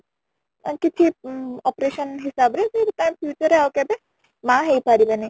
କିଛି operation ହିସାବ ରେ ସେ ତା future ରେ ଆଉ କେବେ ମା ହେଇ ପାରିବେନି